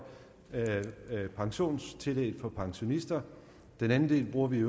pensionstillægget for pensionister den anden del bruger vi